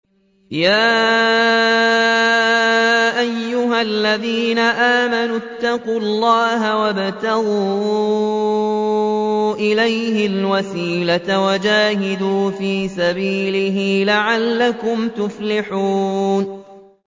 يَا أَيُّهَا الَّذِينَ آمَنُوا اتَّقُوا اللَّهَ وَابْتَغُوا إِلَيْهِ الْوَسِيلَةَ وَجَاهِدُوا فِي سَبِيلِهِ لَعَلَّكُمْ تُفْلِحُونَ